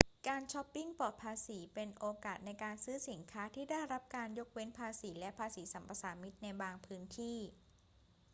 การชอปปิงปลอดภาษีเป็นโอกาสในการซื้อสินค้าที่ได้รับการยกเว้นภาษีและภาษีสรรพสามิตในบางพื้นที่